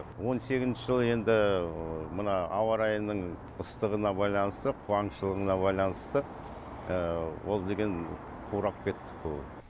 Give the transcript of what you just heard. он сегізінші жылы енді мына ауа райының ыстықтығына байланысты қуаңшылығына байланысты ол деген қурап кетті көбі